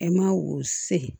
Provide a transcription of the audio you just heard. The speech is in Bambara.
E ma o se